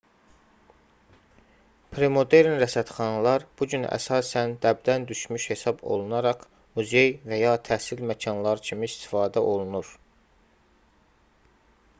premodern rəsədxanalar bu gün əsasən dəbdən düşmüş hesab olunaraq muzey və ya təhsil məkanları kimi istifadə olunur